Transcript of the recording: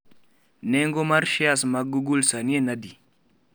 Nengo mar shares mag google sani en adi?